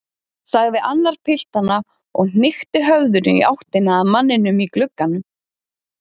sagði annar piltanna og hnykkti höfðinu í áttina að manninum í glugganum.